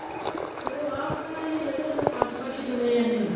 ਸ਼ੁਰਆਤ ਤਾਂ ਇਹ ਜਦੋਂ ਸਰਪੰਚ ਪੰਚ ਚੁਣੇ ਜਾਂਦੇ ਏ